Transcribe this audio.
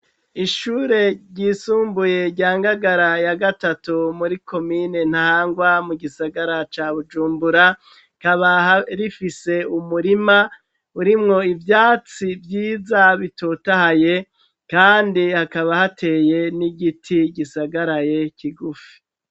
Ishure ryisumbuye ryangagara ya gatatu muri komine ntangwa mu gisagara ca bujumbura kabaha rifise umurima uri mwo ivyatsi vyiza bitotahaye, kandi hakaba hateye n'igiti gisagaraye kigufi.